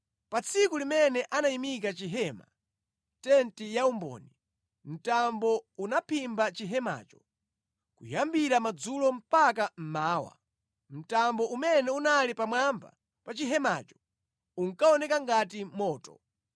Pa tsiku limene anayimika chihema, tenti ya umboni, mtambo unaphimba chihemacho. Kuyambira madzulo mpaka mmawa, mtambo umene unali pamwamba pa chihemacho unkaoneka ngati moto.